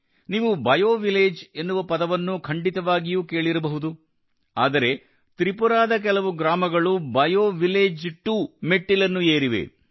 ನೀವು bio village ಎನ್ನುವ ಪದವನ್ನು ಖಂಡಿತವಾಗಿಯೂ ಕೇಳಿರಬಹುದು ಆದರೆ ತ್ರಿಪುರಾದ ಕೆಲವು ಗ್ರಾಮಗಳು ಬಯೋವಿಲೇಜ್ 2 ಮೆಟ್ಟಿಲನ್ನು ಏರಿವೆ